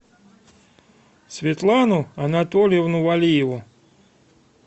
светлану анатольевну валиеву